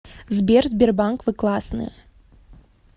сбер сбербанк вы классные